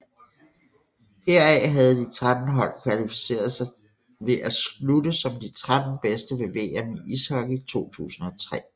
Heraf havde de 13 hold kvalificeret sig ved at slutte som de 13 bedste ved VM i ishockey 2003